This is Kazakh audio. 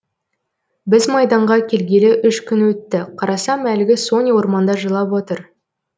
біз майданға келгелі үш күн өтті қарасам әлгі соня орманда жылап отыр